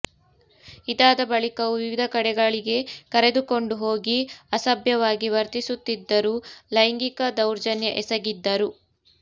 ಇದಾದ ಬಳಿಕವೂ ವಿವಿಧ ಕಡೆಗಳಿಗೆ ಕರೆದುಕೊಂಡು ಹೋಗಿ ಅಸಭ್ಯವಾಗಿ ವರ್ತಿಸುತ್ತಿದ್ದರು ಲೈಂಗಿಕ ದೌರ್ಜನ್ಯ ಎಸಗಿದ್ದರು